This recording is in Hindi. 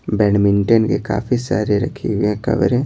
बैडमिंटन के काफी सारे रखे हुए हैं कवरें --